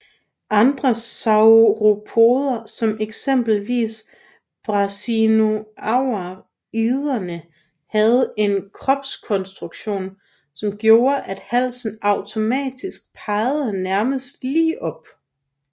Andre sauropoder som eksempelvis brachiosauriderne havde en kropskonstruktion som gjorde at halsen automatisk pegede næsten lige op